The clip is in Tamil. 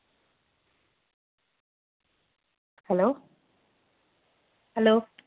hello hello